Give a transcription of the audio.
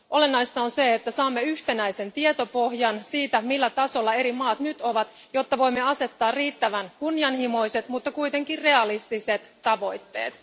Olennaista on se, että saamme yhtenäisen tietopohjan siitä, millä tasolla eri maat nyt ovat, jotta voimme asettaa riittävän kunnianhimoiset, mutta kuitenkin realistiset tavoitteet.